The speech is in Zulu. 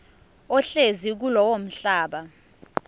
ohlezi kulowo mhlaba